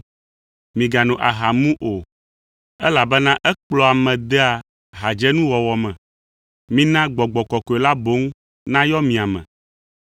Migano aha mu o, elabena ekplɔa ame dea hadzenuwɔwɔ me. Mina Gbɔgbɔ Kɔkɔe la boŋ nayɔ mia me.